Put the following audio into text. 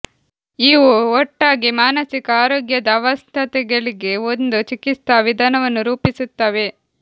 ಇವು ಒಟ್ಟಾಗಿ ಮಾನಸಿಕ ಆರೋಗ್ಯದ ಅಸ್ವಸ್ಥತೆಗಳಿಗೆ ಒಂದು ಚಿಕಿತ್ಸಾ ವಿಧಾನವನ್ನು ರೂಪಿಸುತ್ತವೆ